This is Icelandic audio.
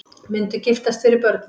Myndu giftast fyrir börnin